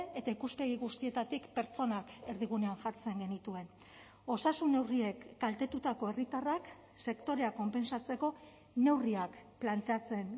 eta ikuspegi guztietatik pertsonak erdigunean jartzen genituen osasun neurriek kaltetutako herritarrak sektoreak konpentsatzeko neurriak planteatzen